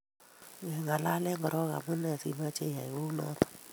ngeng'alanen koro omunee simoche iyai kou noto